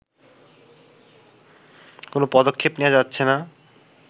কোনো পদক্ষেপ নেয়া যাচ্ছে না